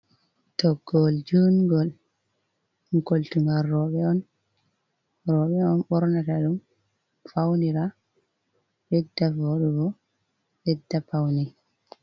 Toggol jungol, ɗum koltugal rooɓe on, rooɓe on ɓorna ta ɗum, faunira ɓedda voɗugo ɓedda paune.